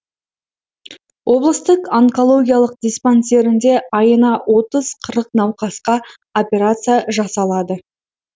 облыстық онкологиялық диспансерінде айына отыз қырық науқасқа операция жасалады